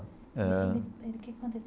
Ah O que que aconteceu?